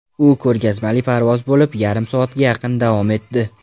U ko‘rgazmali parvoz bo‘lib, yarim soatga yaqin davom etdi.